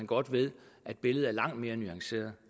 godt ved at billedet er langt mere nuanceret